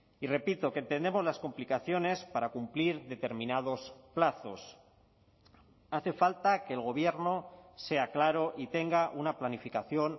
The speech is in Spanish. y repito que entendemos las complicaciones para cumplir determinados plazos hace falta que el gobierno sea claro y tenga una planificación